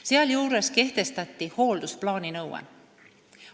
Sealjuures kehtestati hooldusplaani nõue.